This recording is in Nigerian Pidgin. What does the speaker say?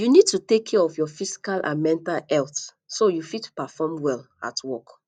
you need to take care of your physical and mental healthso you fit perform well at work